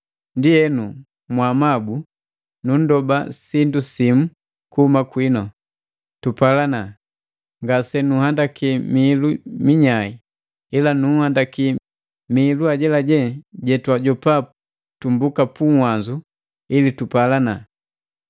Ndienu, mwaamabu nunndoba sindu simu kuhuma kwinu: Tupalana. Ngase nunhandaki mihilu minyae, ila nunhandaki mihilu ajelaje jetwajopa tumbuka pu uwanzu ili tupalana.